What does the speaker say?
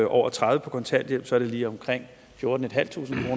over tredive på kontanthjælp så er det lige omkring fjortentusinde